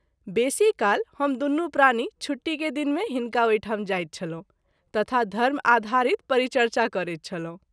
बेशी काल हम दुनू प्राणी छुट्टी के दिन मे हिनका ओहि ठाम जाइत छलहुँ तथा धर्म आधारित परिचर्चा करैत छलहुँ।